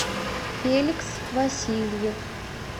феликс васильев